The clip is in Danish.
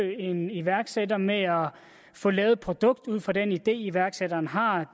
en iværksætter med at få lavet et produkt ud fra den idé iværksætteren har